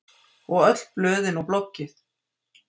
Og öll blöðin og bloggið.